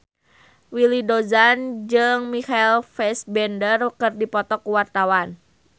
Willy Dozan jeung Michael Fassbender keur dipoto ku wartawan